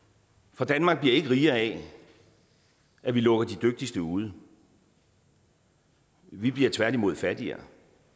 for danmark bliver ikke rigere af at vi lukker de dygtigste ude vi bliver tværtimod fattigere